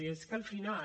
i és que al final